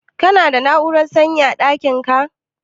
Ka na da na'urar sanyi a ɗakin ka?